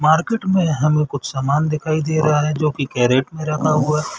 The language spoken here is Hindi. मार्किट में हमें कुछ सामान दिखाई दे रहा हैजोकि कैरट में रखा हुआ हैं ।